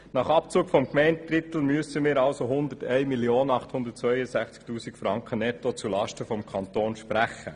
Nach Abzug des Gemeindedrittels müssen wir also 1 862 000 Franken netto zulasten des Kantons sprechen.